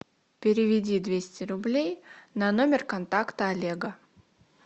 переведи двести рублей на номер контакта олега